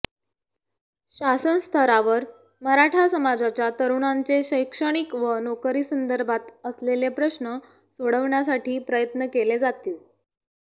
शासनस्तरावर मराठा समाजाच्या तरुणांचे शैक्षणिक व नोकरीसंदर्भात असलेले प्रश्न सोडविण्यासाठी प्रयत्न केले जातील